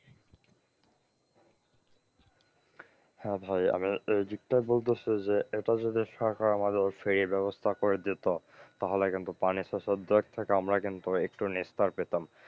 হ্যাঁ ভাই আমার বলতেছে যে এটা যদি সরকার আমাদের free এর ব্যবস্থা করে দিত তাহলে কিন্তু পানি শোষণ থেকে আমরা কিন্তু একটু নিস্তার পেতাম।